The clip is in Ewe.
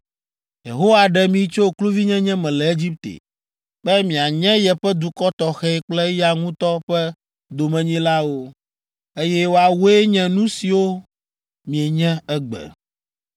Yehowa ɖe mi tso kluvinyenye me le Egipte be mianye yeƒe dukɔ tɔxɛ kple eya ŋutɔ ƒe domenyilawo, eye woawoe nye nu siwo mienye egbe.